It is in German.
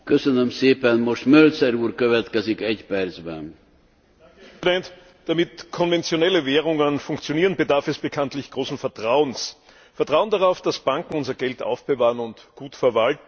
Herr Präsident! Damit konventionelle Währungen funktionieren, bedarf es bekanntlich großen Vertrauens Vertrauens darauf, dass Banken unser Geld aufbewahren und gut verwalten.